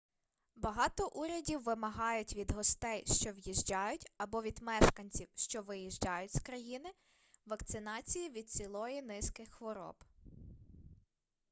багато урядів вимагають від гостей що в'їжджають або від мешканців що виїжджають з країни вакцинації від цілої низки хвороб